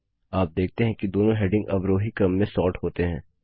आप देखते हैं कि दोनों हेडिंग अवरोही क्रम में सॉर्ट होते हैं